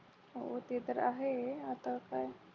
होते तर आहे आता काय